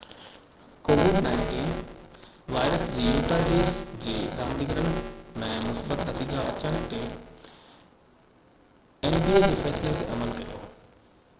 covid-19 وائرس جي Utah Jazz جي رانديگرن جي مثبت نتيجا اچڻ تي nba جي فيصلي تي عمل ڪيو